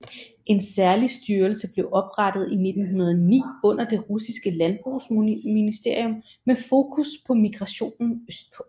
En særlig styrelse blev oprettet i 1906 under det russiske landbrugsministerium med fokus på migrationen østpå